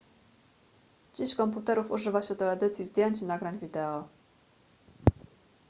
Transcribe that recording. dziś komputerów używa się do edycji zdjęć i nagrań wideo